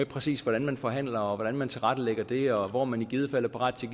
præcis hvordan man forhandler og hvordan man tilrettelægger det og hvor man i givet fald er parat til